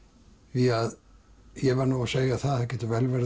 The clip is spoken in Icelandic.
því að ég verð nú að segja það að það getur vel verið